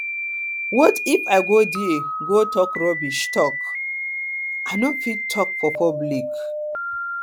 what if i go there go talk rubbish talk rubbish i no fit talk for public